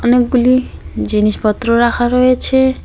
অনেকগুলি জিনিসপত্র রাখা রয়েছে।